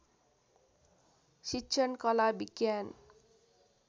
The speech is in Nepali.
शिक्षण कला विज्ञान